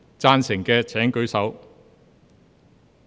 贊成的請舉手。